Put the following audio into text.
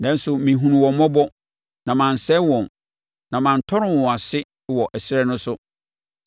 Nanso mehunuu wɔn mmɔbɔ, na mansɛe wɔn, na mantɔre wɔn ase wɔ ɛserɛ no so.